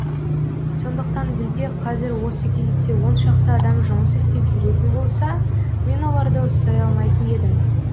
сондықтан бізде қазір осы кезде он шақты адам жұмыс істеп жүретін болса мен оларды ұстай алмайтын едім